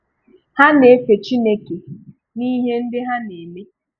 Ha n’efè Chineke n’ihe ndị ha n’eme.